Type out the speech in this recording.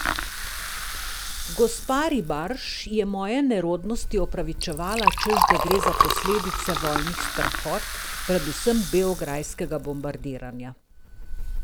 Gospa Ribarž je moje nerodnosti opravičevala, češ da gre za posledice vojnih strahot, predvsem beograjskega bombardiranja.